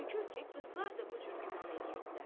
Görür ki, qızlar da bu cür güman eləyirdilər.